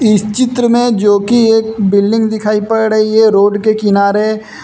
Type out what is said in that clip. इस चित्र में जो कि एक बिल्डिंग दिखाई पड़ रही है रोड के किनारे।